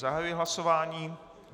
Zahajuji hlasování.